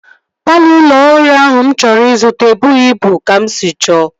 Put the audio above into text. Palọ ụlọ ọhụrụ ahụ mụ chọrọ ịzụta ebughi ịbụ ka m sị chọọ